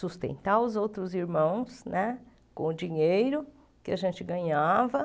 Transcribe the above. Sustentar os outros irmãos né com o dinheiro que a gente ganhava.